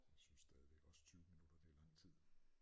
Synes stadigvæk også 20 minutter det er lang tid